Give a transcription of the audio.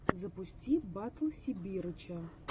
запусти батл сибирыча